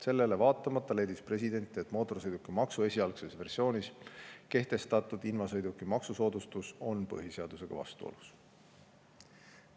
Sellele vaatamata leidis president, et mootorsõidukimaksu esialgses versioonis kehtestatud invasõiduki maksusoodustus on põhiseadusega vastuolus.